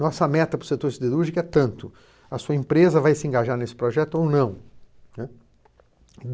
Nossa meta para o setor siderúrgico é tanto, a sua empresa vai se engajar nesse projeto ou não, né.